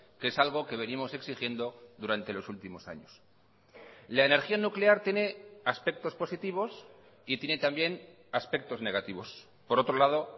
que es algo que venimos exigiendo durante los últimos años la energía nuclear tiene aspectos positivos y tiene también aspectos negativos por otro lado